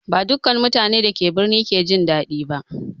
Ba dukkan mutanen da ke birni ke jin daɗi ba.